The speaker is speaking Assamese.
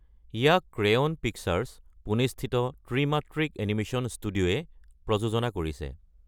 ইয়াক ক্ৰেয়ন পিকচাৰ্ছে (পুনেস্থিত ত্ৰিমাত্ৰিক এনিমেচন ষ্টুডিঅ') প্ৰযোজনা কৰিছে।